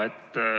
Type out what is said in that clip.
Jaa.